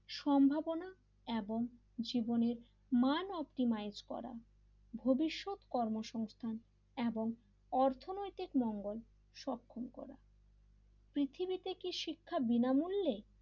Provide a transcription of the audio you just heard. সম্ভাবনা এবং জীবনের মান অপটিমাইজ করা ভবিষ্যৎ কর্মসংস্থান এবং অর্থনৈতিক মঙ্গল সক্ষম করা পৃথিবীতে কি শিক্ষা বিনামূল্যে?